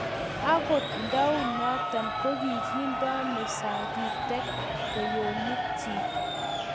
Agot ndaunoto kogindeno sagitek kwenyonikchi